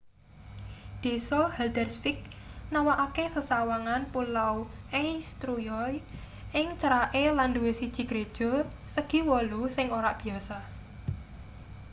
desa haldarsvík nawakake sesawangan pulau eysturoy ing cerake lan duwe siji gereja segi wolu sing ora biasa